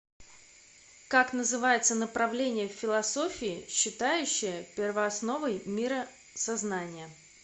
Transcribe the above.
как называется направление в философии считающее первоосновой мира сознание